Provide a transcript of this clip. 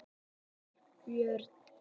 Valbjörn